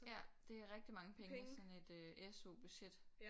Ja det er rigtig mange penge i sådan et SU budget